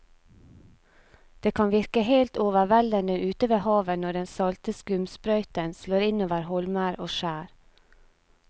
Det kan virke helt overveldende ute ved havet når den salte skumsprøyten slår innover holmer og skjær.